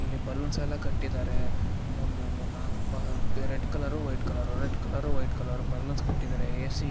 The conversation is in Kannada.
ಲೀ ಬಲೂನ್ಸ್ ಎಲ್ಲಾ ಕಟ್ಟಿದ್ದಾರೆ ಮೂರನೇ ಮೂರ್ನಾಲಕ್ ಬಾಗ red colour white colour red colour white colour ಬಾಗಲಾಸಿ ಕಟ್ಟಿದ್ದಾರೆ ಎಸಿ --